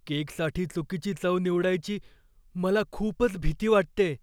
केकसाठी चुकीची चव निवडायची मला खूपच भीती वाटतेय.